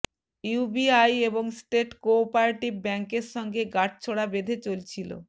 UBI এবং state cooperative ব্যাঙ্কের সঙ্গে গাঁটছড়া বেঁধে চলছিল